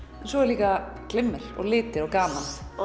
svo er líka glimmer og litir og gaman og